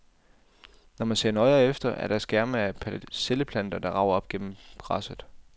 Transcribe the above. Når man ser nøjere efter, er det skærme af persilleplanter, der rager op gennem græsset.